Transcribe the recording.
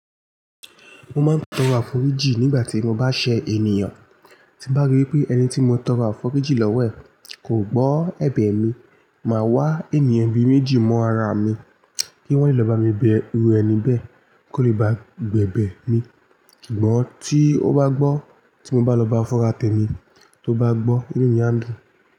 Mo máa ń tọrọ àforíjì nígbà tí mo bá ṣẹ ènìyàn. Tí bá rí pé ẹni tí mo tọrọ àforíjì lọ́wọ́ ẹ̀ kò gbọ́ ẹ̀bẹ̀ mi, màá wá ènìyàn bí méjì mọ́ ara mi kí wọ́n lè lọ bá mi bẹ ru ẹni bẹ́ẹ̀ kó lè bá gbẹ̀bẹ̀ mi. Kìgbọ́n tí ó bá gbọ́ tí mo bá lọ bá fún ra tẹ mi, tó bá gbọ́ inú mi adùn.